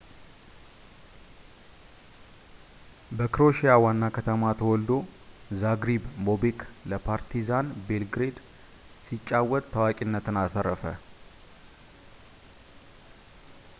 በክሮኤሺያ ዋና ከተማ ተወልዶ ዛግሪብ ቦቤክ ለፓርቲዛን ቤልግሬድ ሲጫወት ታዋቂነትን አተረፈ